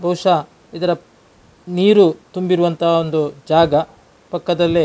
ಬಹುಶ ಇದರ ನೀರು ತುಂಬಿರುವಂಥ ಒಂದು ಜಾಗ ಪಕ್ಕದಲಿ-